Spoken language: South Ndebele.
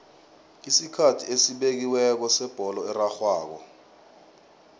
isikhathi esibekiweko sebholo erarhwako